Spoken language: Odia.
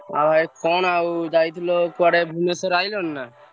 ଆଉ ଭାଇ କଣ ଆଉ ଯାଇଥିଲ କୁଆଡେ ଭୁବନେଶ୍ୱର ଆଇଲଣି ନା?